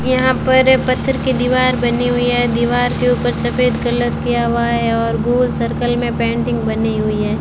यहां पर पत्थर की दीवार बनी हुई है दीवार के ऊपर सफेद कलर किया हुआ है और गोल सर्कल में पेंटिंग बनी हुई है।